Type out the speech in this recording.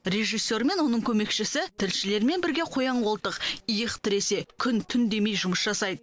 режиссер мен оның көмекшісі тілшілермен бірге қоян қолтық иық тіресе күн түн демей жұмыс жасайды